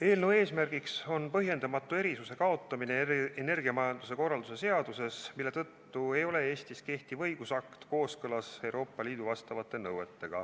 Eelnõu eesmärk on põhjendamatu erisuse kaotamine energiamajanduse korralduse seaduses, mille tõttu ei ole Eestis kehtiv õigusakt kooskõlas Euroopa Liidu vastavate nõuetega.